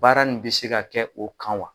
Baara min bɛ se ka kɛ o kan wa?